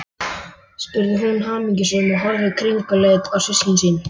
spurði hún hamingjusöm, og horfði kringluleit á systkini sín.